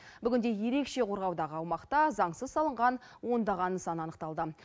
бүгінде ерекше қорғаудағы аумақта заңсыз салынған ондаған нысан анықталды